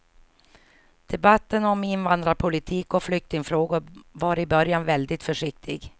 Debatten om invandrarpolitik och flyktingfrågor var i början väldigt försiktig.